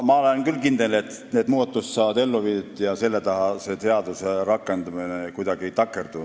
Ma olen küll kindel, et need muudatused ellu viiakse ja selle taha selle seaduse rakendumine kuidagi ei takerdu.